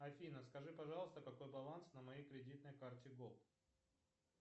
афина скажи пожалуйста какой баланс на моей кредитной карте голд